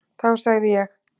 Þá segði ég: